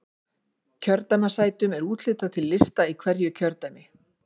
Kjördæmissætum er úthlutað til lista í hverju kjördæmi.